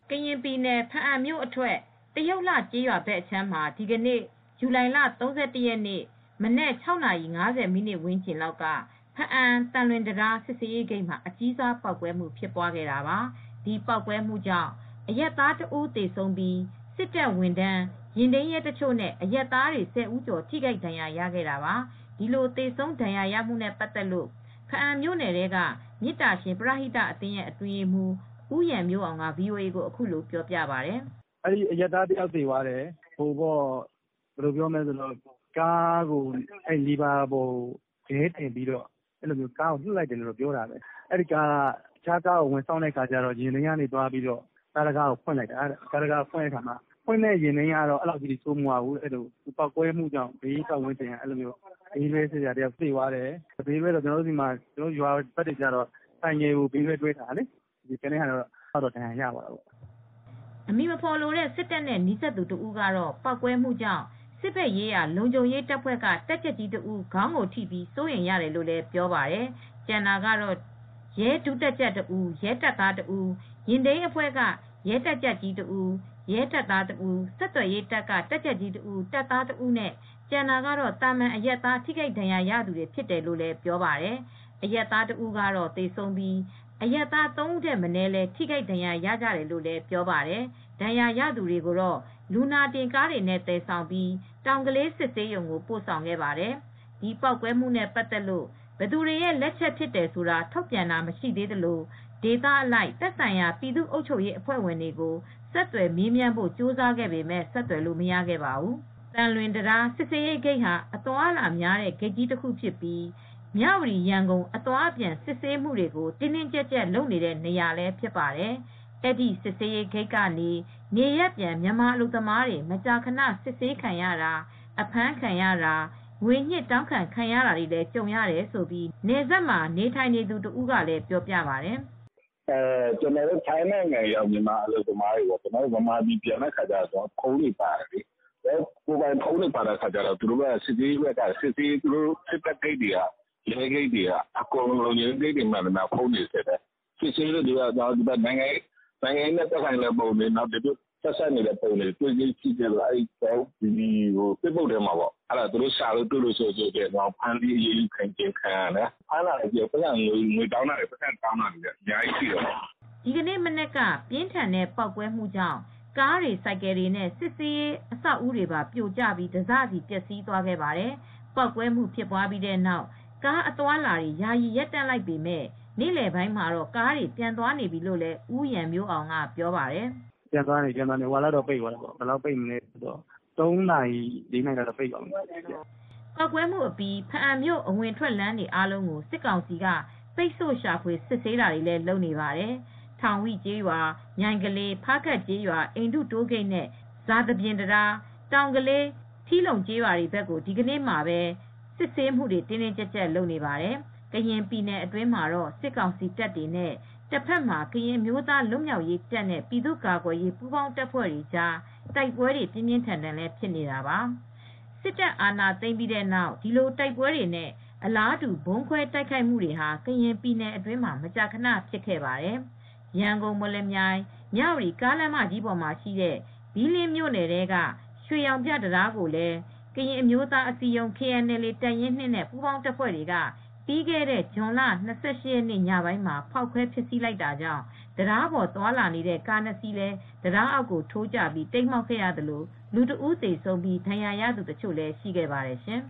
ကရင်ပြည်နယ်၊ ဘားအံမြို့အထွက် တရုတ်လှကျေးရွာဘက်အခြမ်းမှာ ဒီကနေ့ ဇူလိုင်လ ၃၁ ရက်နံနက် ၆ နာရီ ၅၀ မိနစ်ဝန်းကျင်လောက်က ဘားအံ သံလွင်တံတား စစ်ဆေးရေးဂိတ်မှာ အကြီးစား ပေါက်ကွဲမှု ဖြစ်ခဲ့တာပါ။ ဒီပေါက်ကွဲမှုကြောင့် အရပ်သား ၁ ဦး သေဆုံးပြီး စစ်တပ် ဝန်ထမ်း၊ ယာဉ်ထိန်းရဲတချို့နဲ့ အရပ်သားတွေ ၁၀ ဦးကျော် ထိခိုက်ဒဏ်ရာရခဲ့တာပါ။ ဒီလို သေဆုံး ဒဏ်ရာရမှုနဲ့ပတ်သက်လို့ ဘားအံမြို့နယ် ထဲက မေတ္တာရှင် ပရဟိတအသင်းရဲ့အတွင်းရေးမှူး ဦးရန်မျိုးအောင်က ဗွီအိုအေကို အခုလို ပြောပြပါတယ်။ "အရပ်သားတယောက် သေသွားတယ်။ အဲဒီကားက လီဗာကို ခဲလုံးတင်ထားတယ်လို့ ယူဆရတယ် ပြောတယ်။ တခြားကားကို ဝင်ဆောင့်တဲ့ အခါမှာ ယာဉ်ထိန်းရဲက အဲဒီကားတံခါးကို ဖွင့်လိုက်တာ။ ဖွင့်တဲ့ ယာဉ်ထိမ်းရဲ ကတော့ အဲဒီလောက်မဆိုးဘူး။ ပေါက်ကွဲမှုကြောင့်တော့ အဲဒီဘေးက ဘေးတွဲ (ဆိုင်ကယ်ဘေးတွဲ) သမားတယောက် သေသွားတယ်။ ကျန်တာတွေကတော့ ဒဏ်ရာတွေ ရသွားတယ်။" အမည်မဖော်လိုတဲ့ စစ်တပ်နဲ့ နီးစပ်သူ တဦးကတော့ ပေါက်ကွဲမှုကြောင့် စစ်ဘက်ရေးရာ လုံခြုံရေးတပ်ဖွဲ့က တပ်ကြပ်ကြီးတဦး ခေါင်းကိုထိပြီး စိုးရိမ်ရတယ်လို့ ပြောပါတယ်။ ကျန်တာကတော့ ရဲ ဒုတပ်ကြပ်တဦး ရဲတပ်သားတဦး၊ ယာဉ်ထိန်းအဖွဲ့က ရဲတပ်ကြပ်ကြီးတဦး၊ ရဲတပ်သားတဦး ဆက်သွယ်ရေး တပ်က တပ်ကြပ်တဦး တပ်သားတဦးနဲ့ ကျန်တာကတော့ သာမန်အရပ်သား ထိခိုက်ဒဏ်ရာရသူတွေ ဖြစ်တယ်လို့ ပြောပါတယ်။ အရပ်သားတဦးကတော့ သေဆုံးပြီး အရပ်သား ၃ ဦးထက်မနည်းလည်း ထိခိုက်ဒဏ်ရာ ရကြတယ်လို့ပြောပါတယ်။ ဒဏ်ရာရသူတွေကိုတော့ လူနာတင်ကားတွေနဲ့ သယ်ဆောင်ပြီး တောင်ကလေး စစ်ဆေးရုံကို ပို့ဆောင်ခဲ့ပါတယ်။ ဒီပေါက်ကွဲမှုနဲ့ ပတ်သက်လို့ ဘယ်သူတွေရဲ့ လက်ချက်ဖြစ်တယ် ဆိုတာ ထုတ်ပြန်တာမရှိသေးသလို ဒေသအလိုက် သက်ဆိုင်ရာ ပြည်သူ့ အုပ်ချုပ်ရေးအဖွဲ့တွေကို ဆက်သွယ်မေးမြန်းဖို့ ကြိုးစားခဲ့ပေမယ့် ဆက်သွယ်လို့ မရသေးပါဘူး။ သံလွင်တံတား စစ်ဆေးရေးဂိတ်ဟာ အသွားအလာများတဲ့ ဂိတ်ကြီးတခု ဖြစ်ပြီး မြဝတီ−ရန်ကုန် အသွား အပြန် စစ်ဆေးမှုတွေကို တင်းတင်းကျပ်ကျပ် လုပ်နေတဲ့နေရာလည်း ဖြစ်ပါတယ်။ အဲ့ဒီစစ်ဆေးရေး ဂိတ်ကနေ နေရပ်ပြန် မြန်မာအလုပ်သမားတွေ မကြာခဏ စစ်ဆေးခံရတာ၊ အဖမ်းခံရတာ၊ ငွေညှစ်တောင်းခံ ခံရတာတွေလည်း ကြုံရတယ်လို့ နယ်စပ်ဒေသမှာ နေထိုင်သူတဦးကလည်း ပြောပြပါတယ်။ "ကျနော်တို့ ထိုင်းနိုင်ငံရောက် မြန်မာအလုပ်သမားတွေက မြန်မာပြည်ပြန်တော့ ကျနော်တို့ဖုန်းတွေ ပါတယ်လေ။ ဖုန်းတွေကို စစ်ဆေးရေးဂိတ်တွေက Facebook အကောင့်တွေ၊ ဖုန်းတွေကို စစ်တယ်။ အဲဒီမှာ နိုင်ငံရေးနဲ့ ပတ်သက်တာရော၊ ဆက်စပ်တဲ့ပုံတွေကို တွေ့ရင် သူတို့က ရှာတွေ့ရင် ဖမ်းဆီးတယ်။ အရေးယူတာတွေ ရှိတယ်။ ငွေညှစ် တောင်းခံတာတွေလည်း အများကြီးရှိတယ်။" ဒီကနေ့ မနက်က ပြင်းထန်တဲ့ ပေါက်ကွဲမှုကြောင့် ကားတွေ ဆိုင်ကယ်တွေနဲ့ စစ်ဆေးရေး အဆောက်အဦးပါ ပြိုကျပြီး တစစီ ပျက်စီး သွားခဲ့ပါတယ်။ ပေါက်ကွဲမှု ဖြစ်ပြီးတဲ့နောက် ကားအသွားအလာတွေ ယာယီ ရပ်တန့်လိုက်ပေမယ့် နေ့လည်ပိုင်းမှာတော့ ကားတွေ ပြန်သွားနေပြီလို့လည်း ဦးရန်မျိုးအောင်က ပြောပါတယ်။ "အခုတော့ ပြန်သွားနေပြီ ၃ နာရီ ၄ နာရီလောက်တော့ပိတ်သွားတယ်" ပေါက်ကွဲမှုအပြီး ဘားအံမြို့ အဝင်အထွက်လမ်းတွေ အားလုံးကို စစ်ကောင်စီက ပိတ်ဆို့ရှာဖွေ စစ်ဆေးတာတွေ လုပ်နေပါတယ်။ ထောင်ဝိကျေးရွာ၊ မြိုင်ကလေး၊ ဖားကပ်ကျေးရွာ၊ အိန္ဒုတိုးဂိတ်နဲ့ ဇာသပြင်တံတား၊ တောင်ကလေး၊ ထီလုံ ကျေးရွာတွေ ဘက်ကို ဒီကနေ့မှာပဲ စစ်ဆေးမှုတွေ တင်းတင်းကျပ်ကျပ် လုပ်နေပါတယ် ။ ကရင်ပြည်နယ်အတွင်းမှာတော့ စစ်ကောင်စီတပ်တွေနဲ့ တဘက်မှာ ကရင်အမျိုးသား လွတ်မြောက်ရေးတပ်နဲ့ ပြည်သူ့ကာကွယ်ရေး ပူးပေါင်းတပ်တွေကြား တိုက်ပွဲတွေ ပြင်းပြင်းထန်ထန် ဖြစ်နေတာပါ။ စစ်တပ် အာဏာသိမ်းပြီးတဲ့နောက် ဒီလိုတိုက်ပွဲတွေနဲ့ အလားတူ ဗုံးခွဲ တိုက်ခိုက်မှုတွေ ကရင်ပြည်နယ်အတွင်းမှာ မကြာခဏ ဖြစ်ခဲ့ပါတယ်။ ရန်ကုန်-မော်လမြိုင်-မြဝတီ ကားလမ်းမကြီးပေါ်ရှိတဲ့ ဘီးလင်းမြို့နယ်ထဲက ရွှေရောင်ပြ တံတားကိုလည်း ကရင်အမျိုးသားအစည်းအရုံး KNLA တပ်ရင်း (၂) နဲ့ ပူးပေါင်းတပ်တွေက ပြီးခဲ့တဲ့ ဇွန်လ ၂၈ ရက်နေ့ ညပိုင်းမှာ ဖောက်ခွဲဖျက်ဆီး လိုက်တာကြောင့် တံတားပေါ် သွားနေတဲ့ကား ၂ စီး တံတားအောက် ထိုးကျပြီး တိမ်းမှောက်ခဲ့သလို၊ လူတဦး သေဆုံးခဲ့ပြီး ဒဏ်ရာရသူ တချို့ ရှိခဲ့ပါတယ်ရှင်